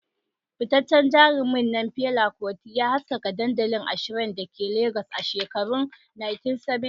Fitaccen jarumin nan Fela Kuti, ya haskaka dandalin a shrine da ke Legas a shekarun 1970.